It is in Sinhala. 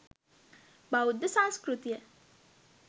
බෞද්ධ සංස්කෘතිය